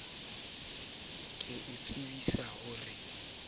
ke o tsibisa ho re